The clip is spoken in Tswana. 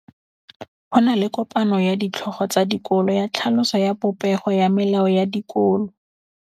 Go na le kopanô ya ditlhogo tsa dikolo ya tlhaloso ya popêgô ya melao ya dikolo.